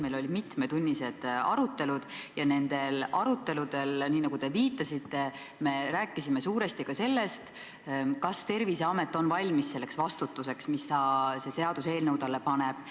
Meil olid mitmetunnised arutelud ja nendel aruteludel, nii nagu te viitasite, rääkisime suuresti ka sellest, kas Terviseamet on valmis selleks vastutuseks, mida see seaduseelnõu talle paneb.